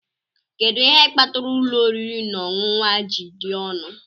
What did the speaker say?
Kedu ihe kpatara ụlọ oriri na ọṅụṅụ a ji dị ọnụ?